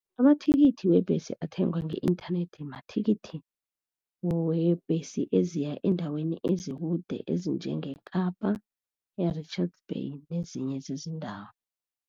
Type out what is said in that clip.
Amathikithi webhesi athengwa nge-inthanethi, mathikithi webhesi eziya eendaweni ezikude, ezinjengeKapa e-Richards Bay nezinye zezindawo.